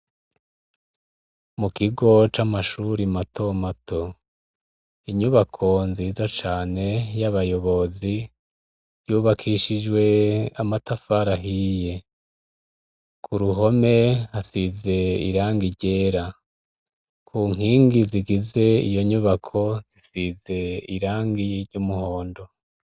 Mukigo camashure mato mato inyubako nziza cane yabayobozi yubakishijwe amatafari ahiye kuruhome hasize irangi ryera kunkingi zigize iyonyubako zisize irangi ryumuhondo